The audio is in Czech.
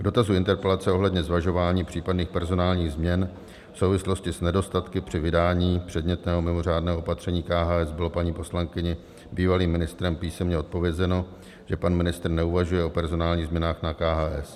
K dotazu interpelace ohledně zvažování případných personálních změn v souvislosti s nedostatky při vydání předmětného mimořádného opatření KHS bylo paní poslankyni bývalým ministrem písemně odpovězeno, že pan ministr neuvažuje o personálních změnách na KHS.